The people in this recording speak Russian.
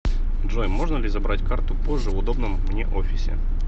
джой можно ли забрать карту позже в удобном мне офисе